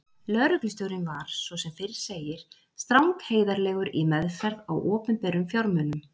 Lögreglustjórinn var, svo sem fyrr segir, strangheiðarlegur í meðferð á opinberum fjármunum.